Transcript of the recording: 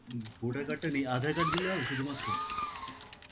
উম voter card টা নেই, Aadhaar card দিলে হবে শুধুমাত্র?